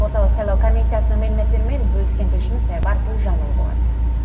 орталық сайлау комиссиясының мәліметтерімен бөліскен тілшіміз айбар төлжанұлы болатын